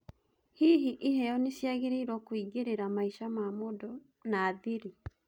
Hihi, iheo niciageriirwo kũingirera maisha ma mũndũ na thiri?